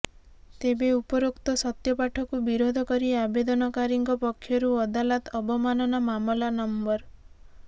ତେବେ ଉପରୋକ୍ତ ସତ୍ୟପାଠକୁ ବିରୋଧ କରି ଆବେଦନକାରୀଙ୍କ ପକ୍ଷରୁ ଅଦାଲତ ଅବମାନନା ମାମଲା ନଂ